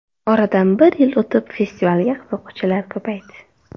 Oradan bir yil o‘tib festivalga qiziquvchilar ko‘paydi.